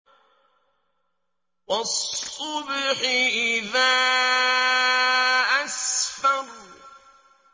وَالصُّبْحِ إِذَا أَسْفَرَ